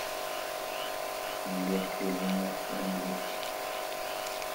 сбер кто жена энлил